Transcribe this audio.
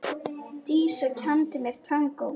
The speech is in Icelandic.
Dísa kenndi mér tangó.